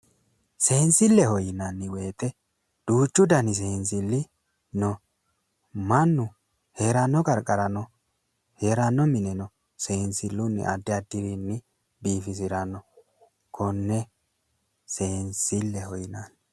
Seensilleho yinanni woyite duuchu dani seensilli no . Mannu heeranno qarqarano heeranno mineno siwiilunni addi addirinni biifisiranno. Konne seensilleho yinanni.